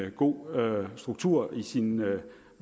en god struktur i sin